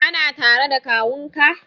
Kana tare da kawunka?